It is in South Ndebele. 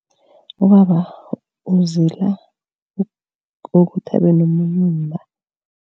Ubaba uzila kokuthi abe nomunye umma.